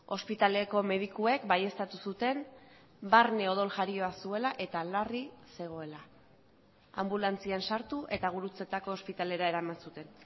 ospitaleko medikuek baieztatu zuten barne odol jarioa zuela eta larri zegoela anbulantzian sartu eta gurutzetako ospitalera eraman zuten